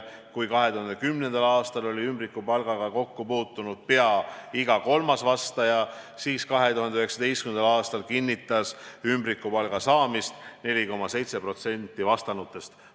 Kui 2010. aastal oli ümbrikupalgaga kokku puutunud pea iga kolmas vastaja, siis 2019. aastal kinnitas ümbrikupalga saamist 4,7% vastanutest.